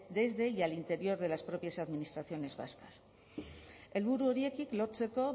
y al interior de las propias administraciones vascas helburu horiek lortzeko